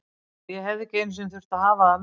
En ég hefði ekki einu sinni þurft að hafa það með.